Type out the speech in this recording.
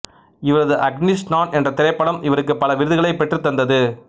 இவரது அக்னிஸ்நான் என்ற திரைப்படம் இவருக்கு பல விருதுகளைப் பெற்றுத் தந்தது